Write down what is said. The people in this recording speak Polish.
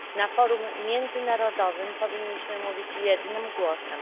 Na forum międzynarodowym powinniśmy mówić jednym głosem.